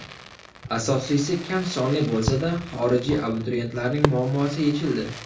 Asosiysi kam sonli bo‘lsada xorijiy abituriyentlarning muammosi yechildi.